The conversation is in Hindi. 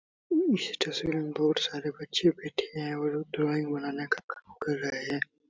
इस तस्वीर मे बहुत सारे बच्चे बैठे है और ड्राइंग बनाने का काम कर रहे है।